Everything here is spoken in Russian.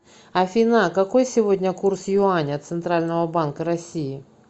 афина какой сегодня курс юаня центрального банка россии